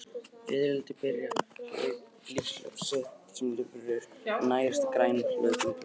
Fiðrildi byrja lífshlaup sitt sem lirfur sem nærast á grænum hlutum plantna.